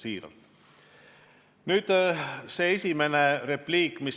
Siiralt!